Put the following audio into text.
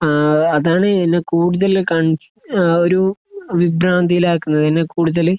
അഹ് അതാണ് എന്നെ കൂടുതൽ കൺ എഹ് ഒരു വിഭ്രധിയിൽ ആക്കുന്നത് എന്നെ കൂടുതൽ